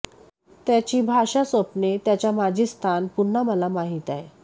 त्याची भाषा स्वप्ने त्याच्या माजी स्थान पुन्हा मला माहीत आहे